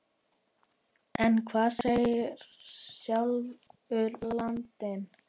En hvað segir sjálfur landinn?